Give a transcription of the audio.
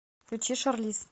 включи шарлиз